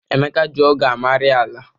Emeka ji ọ́gụ̀ amari ala.